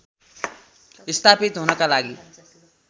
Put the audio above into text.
स्थापित हुनका लागि